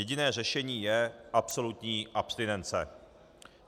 Jediné řešení je absolutní abstinence.